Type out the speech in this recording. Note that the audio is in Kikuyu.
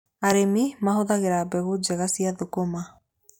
Arĩmi mahũthagĩra mbegũ njega cia thũkũma.